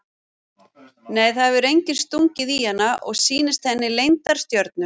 Nei það hefur enginn stungið í hana og sýnt henni leyndar stjörnur.